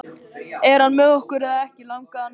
Er hann með okkur eða ekki? langaði hann að vita.